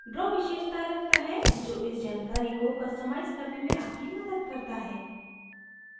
draw विशेषतायें रखता है जो इस जानकारी को customize करने में आपकी मदद करता है